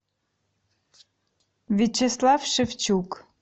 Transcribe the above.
вячеслав шевчук